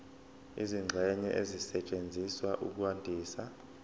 izingxenye ezisetshenziswa ukwandisa